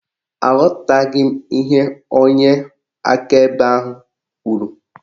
Aghọtaghị m ihe onye akaebe ahụ kwuru